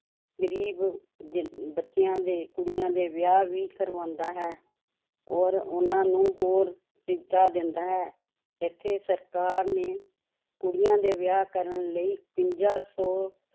ਗ਼ਰੀਬ ਜ ਬੱਚਿਆਂ ਦੇ ਕੁੜੀਆਂ ਦੇ ਵਿਆਹ ਵੀ ਕਰਵਾਉਂਦਾ ਹੈ ਔਰ ਉਹਨਾਂ ਨੂੰ ਹੋਰ ਸੁਵਿਧਾ ਦਿੰਦਾ ਹੈ, ਇੱਥੇ ਸਰਕਾਰ ਨੇ ਕੁੜੀਆਂ ਦੇ ਵਿਆਹ ਕਰਨ ਲਈ ਇਕਵੰਜਾ ਸੌ